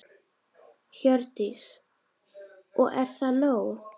Hjördís: Og er það nóg?